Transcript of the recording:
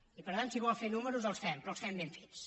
i per tant si vol fer números els fem però els fem ben fets